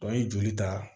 an ye joli ta